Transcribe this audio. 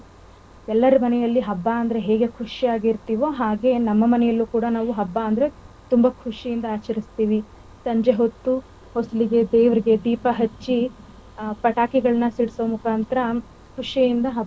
ಎಲ್ಲಾರ ಮನೆಯಲ್ಲಿ ಹಬ್ಬ ಅಂದ್ರೆ ಹೇಗೆ ಖುಷಿಯಾಗಿ ಇರ್ತಿವೋ ಹಾಗೆ ನಮ್ಮ ಮನೆಯಲ್ಲೂ ಕೂಡ ನಾವು ಹಬ್ಬ ಅಂದ್ರೆ ತುಂಬಾ ಖುಷಿಯಿಂದ ಆಚರಿಸ್ತಿವಿ ಸಂಜೆವೊತ್ತು ವಸಲಿಗೆ ದೇವರಿಗೆ ದೀಪ ಹಚ್ಚಿ ಹ ಪಟಾಕಿಗಳನಾ ಸಿಡಸೋ ಮುಖಾಂತರ ಖುಷಿಯಿಂದ ಹಬ್ಬ ಆಚರಿಸ್ತಿವಿ.